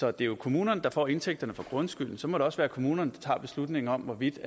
er jo kommunerne der får indtægten fra grundskylden og så må det også være kommunerne der tager beslutningen om hvorvidt